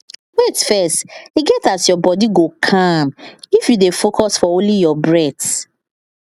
wait first e get as your body go calm if you dey focus for only your breath